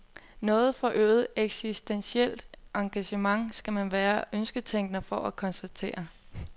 Noget forøget eksistentielt engagement skal man være ønsketænker for at konstatere.